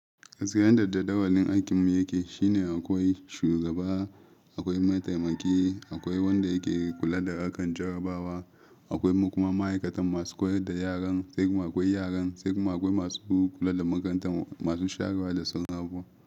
Sai yadda jadawalin aikin mu yake, shine akwai shudaba, akwai maitaimaki, akwai wanda yake kula da harkar jarabawa, akwai kuma ma'aikatan masu koyar da yaran, sai kuma akwai yaran, sai kuma akwai masu kula da makarantar masu shara da sauran abubuwa.